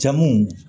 Jamuw